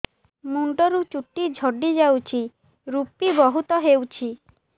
ମୁଣ୍ଡରୁ ଚୁଟି ଝଡି ଯାଉଛି ଋପି ବହୁତ ହେଉଛି